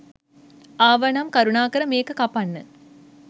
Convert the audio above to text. ආවනම් කරුණාකර මේක කපන්න